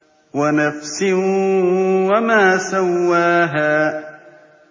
وَنَفْسٍ وَمَا سَوَّاهَا